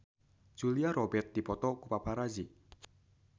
Julia Robert dipoto ku paparazi